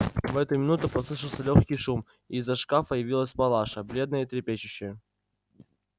в эту минуту послышался лёгкий шум и из-за шкафа явилась палаша бледная и трепещущая